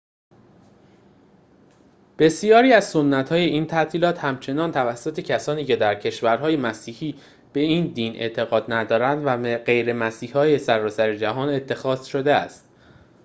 بسیاری از سنت‌های این تعطیلات همچنین توسط کسانی که در کشورهای مسیحی به این دین اعتقاد ندارند و غیرمسیحی‌های سراسر جهان اتخاذ شده است